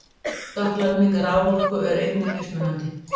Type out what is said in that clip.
Skattlagning raforku er einnig mismunandi.